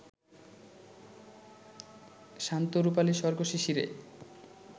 শান্ত রুপালি স্বর্গ-শিশিরে